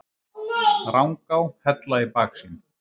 Rangá, Hella í baksýn.